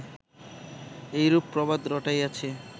এইরূপ প্রবাদ রটাইয়াছে